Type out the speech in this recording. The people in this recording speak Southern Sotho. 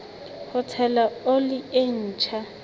ho tshela oli e ntjha